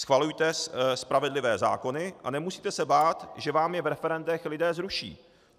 Schvalujte spravedlivé zákony a nemusíte se bát, že vám je v referendech lidé zruší.